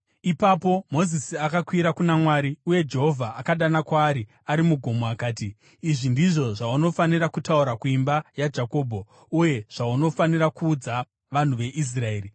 Ipapo Mozisi akakwira kuna Mwari, uye Jehovha akadana kwaari ari mugomo akati, “Izvi ndizvo zvaunofanira kutaura kuimba yaJakobho uye zvaunofanira kuudza vanhu veIsraeri: